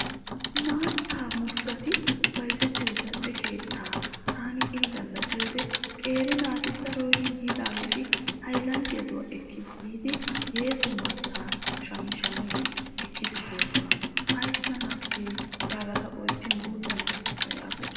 Maatta murutati bayzettiyoo zal"e keettaa taani ini galla biyoodee qeeri naati daroy yiidaageeti haylanddiyaaduwa ekkidi yiidi yeeso maattaa shammi shammidi ekkidi boosona. Ayssanaasse yaagada ta oychchin guutta naatussa yaagoosona.